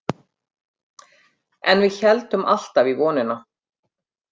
En við héldum alltaf í vonina.